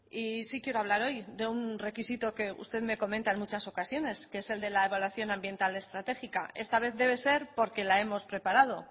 y sí quiero hablar hoy de un requisito que usted me comenta en muchas ocasiones que es el de la evaluación ambiental estratégica esta vez debe ser porque la hemos preparado